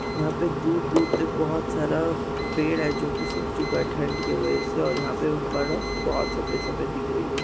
यहाँ पे दूर-दूर तक बहुत सारा पेड़ है जो की सूख चुका है ठंड की वजह से और यहाँ पे बरफ बहुत सफेद सफेद दिख रही है।